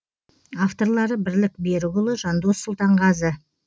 авторлары бірлік берікұлы жандос сұлтанғазы